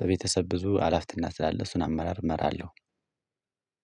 በቤተሰብ ብዙ አላፍትና ስላለ እሱን አመራር እመራለሁ።